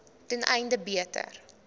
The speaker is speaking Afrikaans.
ten einde beter